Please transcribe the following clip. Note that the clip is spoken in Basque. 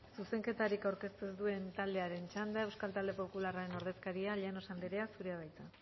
zuzenketarik aurkeztu ez duen taldearen txanda euskal talde popularraren ordezkaria llanos anderea zurea da hitza